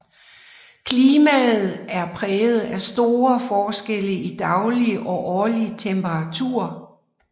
Klimaet er præget af store forskelle i daglig og årlig temperatur